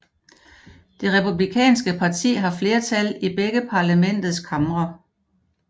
Det Republikanske parti har flertal i begge parlamentets kamre